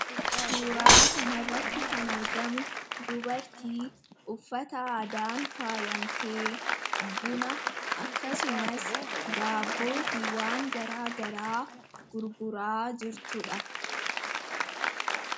Suuraaa kanarratti kan argamu dubartii uffata aadaan faayamtee buna akkasumas daabboo fi waan garaa garaa gurguraa jirtudha.